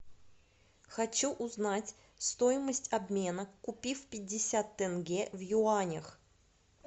хочу узнать стоимость обмена купив пятьдесят тенге в юанях